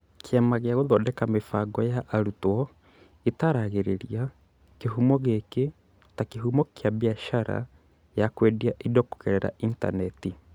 Kĩama gĩa Gũthondeka Mĩbango ya Arutwo gĩtaaragĩria kĩhumo gĩkĩ ta kĩhumo kĩa biacara ya kwendia indo kũgerera intaneti.